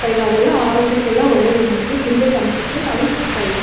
ತೈಲ ಅದೆಲ್ಲ ಆರೋಗ್ಯಕ್ಕೆಲ್ಲ ಒಳ್ಳೇದು ನಮಗೆ ತಿನ್ಬೇಕು ಅನ್ಸುತ್ತೆ ಆದ್ರೂ ಸಿಕ್ತ ಇಲ್ಲ.